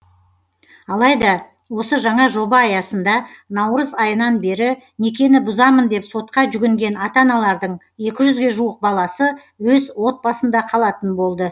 алайда осы жаңа жоба аясында наурыз айынан бері некені бұзамын деп сотқа жүгінген ата аналардың екі жүзге жуық баласы өз отбасында қалатын болды